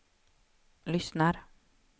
lyssnar